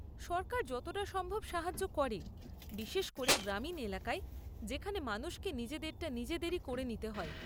সরকার যতটা সম্ভব সাহায্য করে, বিশেষ করে গ্রামীণ এলাকায় যেখানে মানুষকে নিজেদেরটা নিজেদেরই করে নিতে হয়।